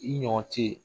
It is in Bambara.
I ɲɔgɔncɛ